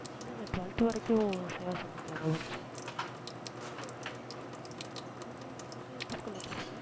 இல்ல இல்ல twelfth வரைக்கும் சேவா சங்கத்திலேதான் படிச்சேன் நீங்க எந்~ நீங்க எந்த school ல படிச்சிங்க